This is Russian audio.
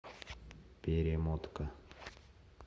перемотка